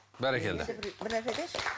бәрекелді бір нәрсе айтайыншы